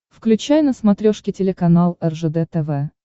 включай на смотрешке телеканал ржд тв